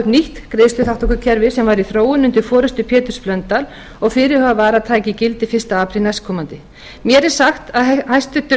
nýtt greiðsluþátttökukerfi sem var í þróun undir forustu péturs blöndals og fyrirhugað var að tæki gildi fyrsta apríl næstkomandi mér er sagt að hæstvirtur